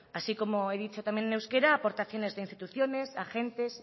así como he dicho también en euskara aportaciones de instituciones agentes